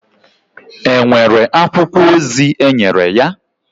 È nwere akwụkwọ ozi enyere ya?